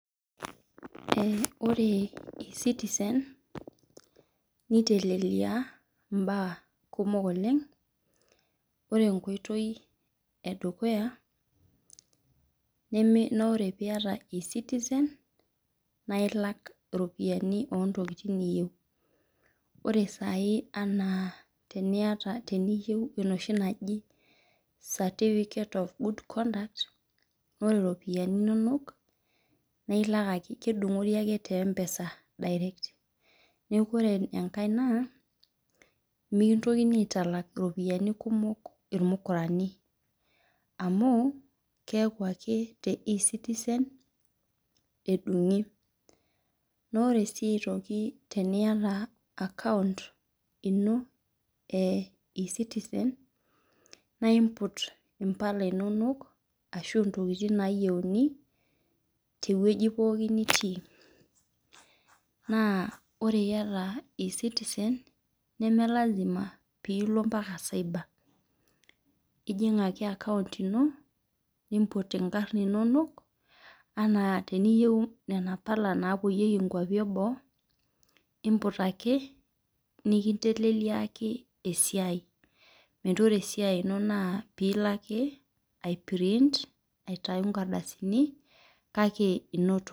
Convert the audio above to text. Ee ore ecitize nitelelia mbaa kumok oleng ore enkoitoi edukuya na kre piata nailak iropiyiani ontokitin niyieu ore na teniyieu certificate of good conduct ore ropiyani inonok nailak ake kedungori tempesa na ore aitalak ropiyani kumok irmukurani amu keeta ake te e citizen naore si aitoki teniata akount ino na imout impala inonok ashu ntokitin nayieni teoi poki nitii nemelasima pilo sai ba ijing ake akounnt ino nimput mpala inonok ana teniyieu mbala napuoyieki nkwapi eboo imput ake nikinteleliaki esiai ore impala inonok na pikinteleliaki ai print aitau nkardasini kake inoto.